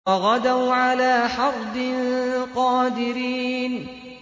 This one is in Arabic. وَغَدَوْا عَلَىٰ حَرْدٍ قَادِرِينَ